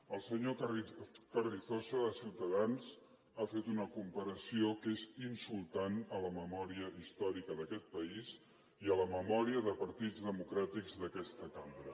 el senyor carrizosa de ciutadans ha fet una comparació que és insultant a la memòria històrica d’aquest país i a la memòria de partits democràtics d’aquesta cambra